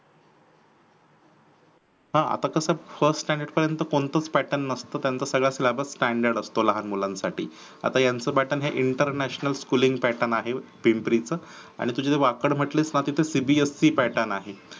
हा आता कसं first standard पर्यन्त कोणताच pattern नसत त्यांचा सगळा syllabus standard असतो लहान मुलांसाठी. आता हयांच pattern हे international schooling pattern आहे पिंपरी च आणि तू जे वाकड म्हंटलीस ना तिथे cbse pattern आहे